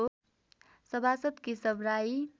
सभासद् केशव राई